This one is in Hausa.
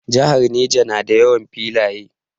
Jihar Neja na da yawan filaye